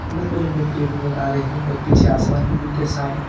लंबे लंबे पेड़ नजर आ रहे हैं और पीछे आसमान भी बिल्कुल साफ है।